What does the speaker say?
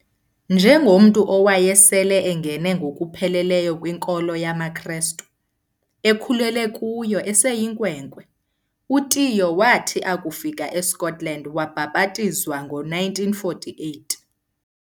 Njengomntu owayesele engene ngokupheleleyo kwinkolo yamaKristu, ekhulele kuyo eseyinkwenkwe, uTiyo wathi akufika eScotland wabhabhatizwa ngo1948.